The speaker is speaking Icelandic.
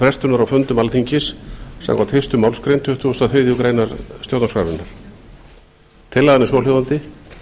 frestunar á fundum alþingis samkvæmt fyrstu málsgrein tuttugustu og þriðju grein stjórnarskrárinnar tillagan er svohljóðandi